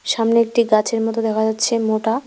সামনে একটি গাছের মতো দেখা যাচ্ছে মোটা।